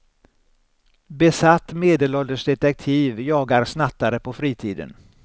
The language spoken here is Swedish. Besatt medelålders detektiv jagar snattare på fritiden.